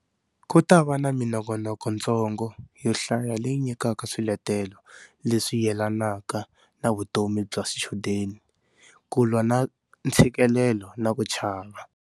Ku ta va na minongonokontsongo yo hlaya leyi nyikaka swiletelo leswi yelanaka na vutomi bya swichudeni, ku lwa na ntshikelelo na ku chava.